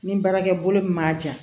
Ni baarakɛ bolo min b'a ja